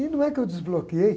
E não é que eu desbloqueei?